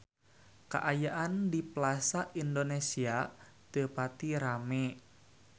Kaayaan di Plaza Indonesia teu pati rame